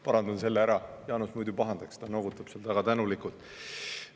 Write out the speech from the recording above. Parandan selle ära, Jaanus muidu pahandaks, ta noogutab väga tänulikult.